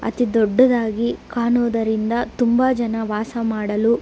ಅತಿ ದೊಡ್ಡದಾಗಿ ಕಾಣೋದಿರಿಂದ ತುಂಬ ಜನ ವಾಸ ಮಾಡಲು --